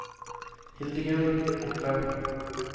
Hildegunn Opheim